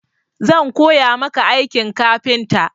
Zan koya maka aikin kafinta.